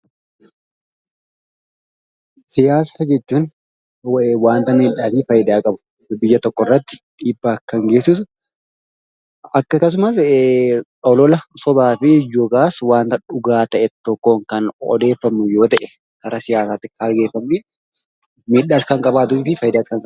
Siyaasa jechuun wanta miidhaa fi faayidaa qabu, biyya tokkorratti dhiibbaa kan geessisu, akkasumas illee olola sobaa fi wanta dhugaa ta'e tokkoon kan odeeffamu yoo ta’e karaa siyaasaatiin kaayyeffamee midhaa fi faayidaas kan qabudha.